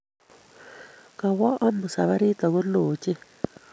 Kowo amut safarit ago loo ochei